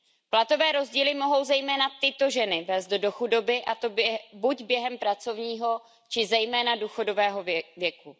Platové rozdíly mohou zejména tyto ženy vést do chudoby, a to buď během pracovního, či zejména důchodového věku.